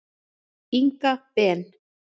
Inga Ben.